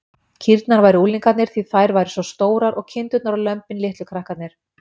Kýrnar væru unglingarnir, því þær væru svo stórar, og kindurnar og lömbin litlu krakkarnir.